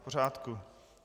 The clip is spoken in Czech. V pořádku.